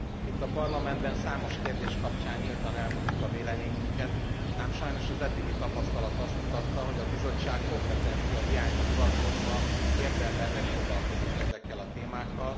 Itt a Parlamentben számos kérdés kapcsán nyíltan elmondjuk a véleményünket, ám sajnos az eddigi tapasztalat azt mutatta, hogy a Bizottság kompetenciahiányra hivatkozva érdemben nem foglalkozott ezekkel a témákkal.